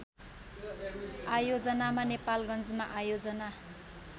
आयोजनामा नेपालगन्जमा आयोजना